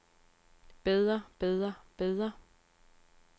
bedre bedre bedre